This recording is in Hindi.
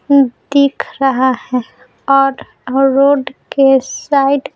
दिख रहा है और रोड के साइड --